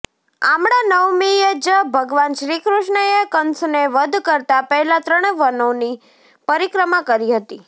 આમળા નવમીએ જ ભગવાન શ્રીકૃષ્ણએ કંસને વધ કરતાં પહેલાં ત્રણ વનોની પરિક્રમા કરી હતી